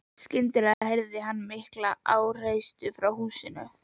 Skyndilega heyrði hann mikla háreysti frá húsinu.